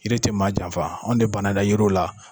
Yiri ti maa janfan. Anw de ban na an ka yiriw la.